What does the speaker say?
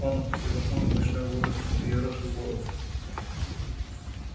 он опустил окно ночной воздух взъерошил волосы